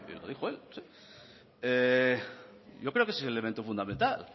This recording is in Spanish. yo creo que es el elemento fundamental